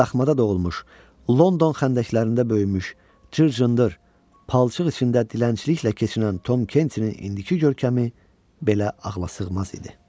Daxmada doğulmuş, London xəndəklərində böyümüş, cır-cırın palçıq içində dilənçiliklə keçinən Tom Kentinin indiki görkəmi belə ağlasığmaz idi.